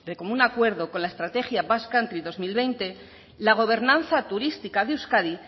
común acuerdo con la estrategia basque country dos mil veinte la gobernanza turística de euskadi